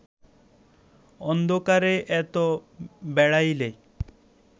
অন্ধকারে এত বেড়াইলে